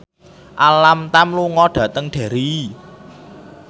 Alam Tam lunga dhateng Derry